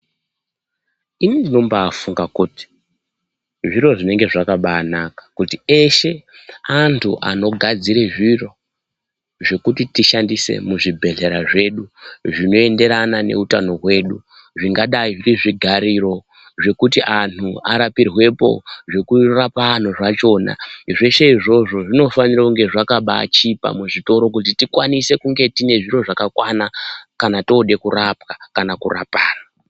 Ini ndinobafunga kuti zviro zvinenge zvakabanaka kuti eshe antu anogadzire zviro zvekuti tishandise muzvibhedhlera zvedu zvinoenderana neutano hwedu zvingadai zviri zvigariro zvekuti anhu arapirwepo zvekurapa anhu zvachona zveshe izvozvo zvinofanirwa kunge zvakabachipa muzvitoro kuti tikwanise kunge tinezviro zvakakwana kana tode kurapwa kana kurapana